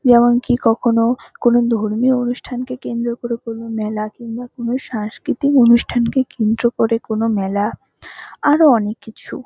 যেমন কি কখনো কোনও ধর্মীয় অনুষ্ঠান কে কেন্দ্র করে কোনো মেলা কিম্বা কোনো সাংসকৃতিক অনুষ্ঠানকে কেন্দ্র করে কোনো মেলা আরও অনেক কিছু।